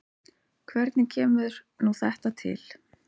Hvernig kemur nú þetta til?